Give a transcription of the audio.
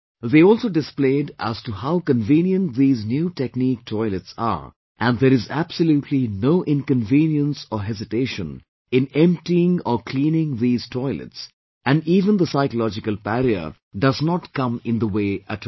They also displayed as to how convenient these new technique toilets are and there is absolutely no inconvenience or hesitation in emptying or cleaning these toilets and even the psychological barrier does not come in the way at all